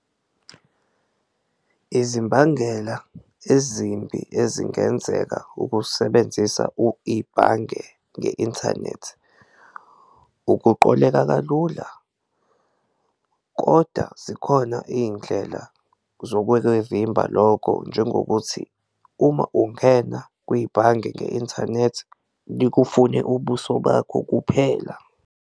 Izimbangela ezimbi ezingenzeka ukusebenzisa ibhange nge-inthanethi, ukuqoleka kalula koda zikhona iy'ndlela zokwekuyivimba lokho njengokuthi uma ungena kwibhange nge-inthanethi likufune ubuso bakho kuphela.